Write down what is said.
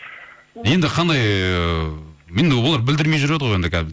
енді қандай ыыы енді олар білдірмей жүреді ғой